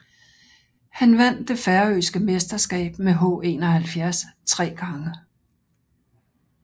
Han vandt det færøske mesterskab med H71 tre gange